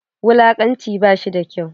Wulakanci ba shi da kyau.